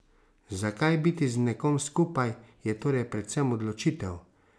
Zakaj biti z nekom skupaj, je torej predvsem odločitev.